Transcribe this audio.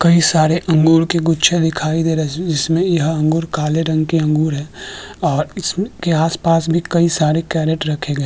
कई सारे अंगूर के गुच्छे दिखाई दे रहे है इसमें यह अंगूर काले रंग के अंगूर है और इसके आस-पास भी कई सारे कैरट रखे गए है।